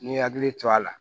N'i hakili to a la